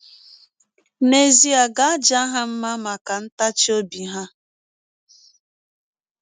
N’ezie a ga - aja ha mma maka ntachi ọbi ha.